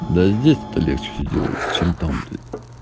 да здесь-то легче все делается чем там блять